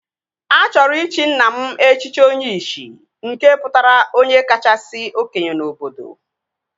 A chọrọ ịchị nna m echichi Onyishi nke pụtara onye kachasị okenye n'obodo